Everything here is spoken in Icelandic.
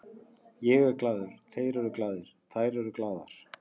Ég er glaður, þeir eru glaðir, þær eru glaðar.